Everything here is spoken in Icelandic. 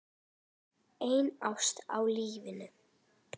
Ein ást að eilífu.